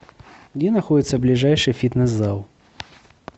где находится ближайший фитнес зал